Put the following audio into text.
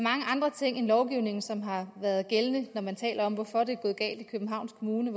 andre ting end lovgivningen som har været gældende når man taler om hvorfor det er gået galt i københavns kommune